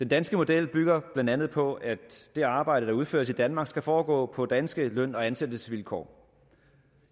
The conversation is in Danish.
danske model bygger blandt andet på at det arbejde der udføres i danmark skal foregå på danske løn og ansættelsesvilkår